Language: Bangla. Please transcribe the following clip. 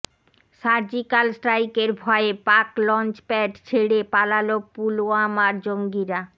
সার্জিকাল স্ট্রাইকের ভয়ে পাক লঞ্চপ্যাড ছেড়ে পালাল পুলওয়ামার জঙ্গিরা